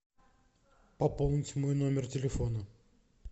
пополнить мой номер телефона